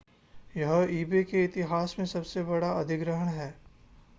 यह ebay के इतिहास में सबसे बड़ा अधिग्रहण है